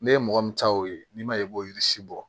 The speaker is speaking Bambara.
Ne ye mɔgɔ min ta o ye n'i ma i b'o yiri si bɔ